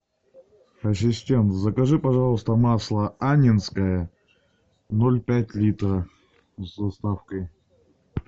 ассистент закажи пожалуйста масло аннинское ноль пять литра с доставкой